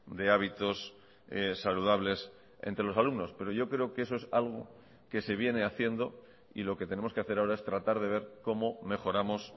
de hábitos saludables entre los alumnos pero yo creo que eso es algo que se viene haciendo y lo que tenemos que hacer ahora es tratar de ver cómo mejoramos